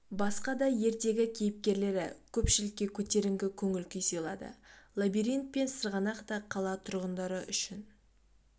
басқа да ертегі кейіпкерлері көпшілікке көтеріңкі көңіл-күй сыйлады лабиринт пен сырғанақ та қала тұрғындары үшін